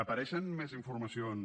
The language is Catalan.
apareixen més informacions